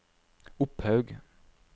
Opphaug